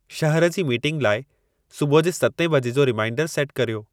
शहर जी मीटिंग लाइ सुबुह जे सतें बजे जो रिमाइंडरु सेटु कर्यो